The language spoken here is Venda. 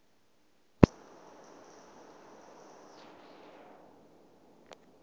ṅ we na mu ṅ